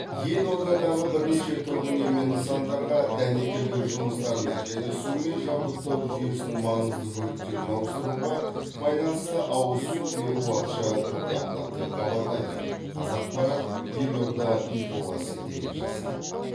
елордадағы бірнеше тұрғын үй мен нысандарға дәнекерлеу жұмыстарына және сумен жабдықтау жүйесінің маңызды бөліктерін ауыстыруға байланысты ауыз су беру уақытша тоқтатылады деп хабарлайды қазақпарат елорда инфоға сілтеме жасап